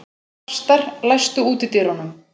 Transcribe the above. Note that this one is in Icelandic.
Þrastar, læstu útidyrunum.